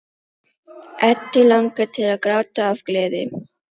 Eddu langar til að gráta af gleði.